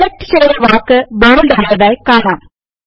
select ചെയ്ത വാക്ക് bold ആയതായി കാണാം